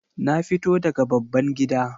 Na fito daga babban gida